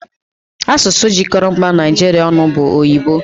Asụsụ jikọrọ mba Naijiria ọnụ bụ oyibo